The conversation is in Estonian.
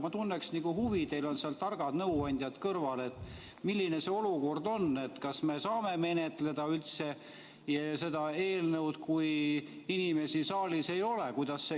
Ma tunneks nagu huvi, teil on seal targad nõuandjad kõrval, milline see olukord on, kas me saame üldse seda eelnõu menetleda, kui inimesi saalis ei ole.